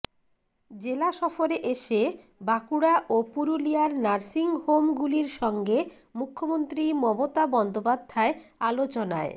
জেলা সফরে এসে বাঁকুড়া ও পুরুলিয়ার নার্সিংহোমগুলির সঙ্গে মুখ্যমন্ত্রী মমতা বন্দ্যোপাধ্যায় আলোচনায়